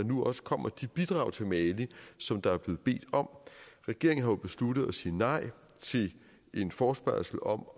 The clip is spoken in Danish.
nu også kommer de bidrag til mali som der er blevet bedt om regeringen har jo besluttet at sige nej til en forespørgsel om